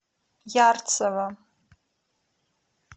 ярцево